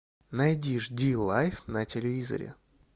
найди жди лайф на телевизоре